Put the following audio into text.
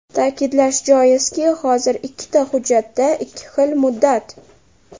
Ta’kidlash joizki, hozir ikkita hujjatda ikki xil muddat.